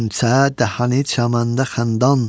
Qönçə dəhanı çəməndə xəndan.